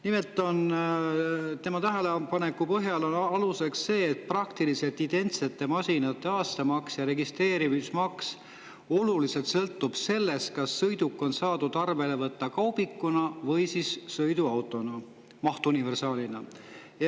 Nimelt on tema tähelepanek see, et praktiliselt identsete masinate aastamaks ja registreerimis oluliselt sõltuvad sellest, kas sõiduk on saadud arvele võtta kaubikuna või mahtuniversaalina.